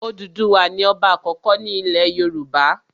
Òdùduwà ni ọba àkọ́kọ́ ilẹ̀ Yorùbá.